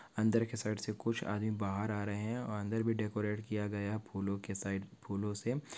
अंदर के साइड से कुछ आदमी बाहर आ रहे है और अंदर भी डेकोरेट किया गया फूलों के साइड फूलों से--